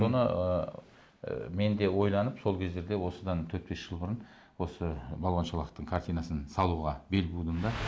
соны ыыы мен де ойланып сол кездерде осыдан төрт бес жыл бұрын осы балуан шолақтың картинасын салуға бел будым да